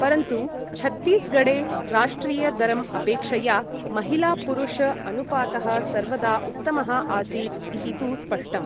परन्तु छत्तीसगढे राष्ट्रिय दरम् अपेक्षया महिला पुरुष अनुपातः सर्वदा उत्तमः आसीत् इति तु स्पष्टम्।